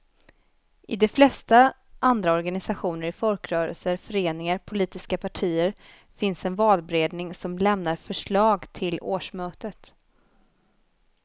I de flesta andra organisationer, i folkrörelser, föreningar, politiska partier, finns en valberedning som lämnar förslag till årsmötet.